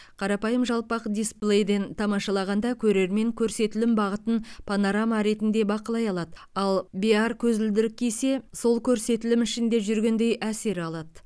қарапайым жалпақ дисплейден тамашалағанда көрермен көрсетілім бағытын панорама ретінде бақылай алады ал биар көзілдірік кисе сол көрсетілім ішінде жүргендей әсер алады